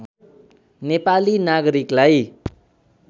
नेपाली नागरिकलाई